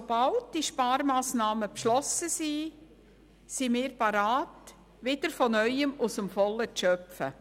Aber sobald die Sparmassnahmen beschlossen sind, beginnen wir bereits wieder, aus dem Vollen zu schöpfen.